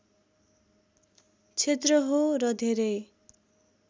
क्षेत्र हो र धेरै